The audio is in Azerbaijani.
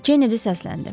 Kennedy səsləndi.